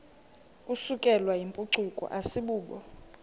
isukelwayo yimpucuko asibubo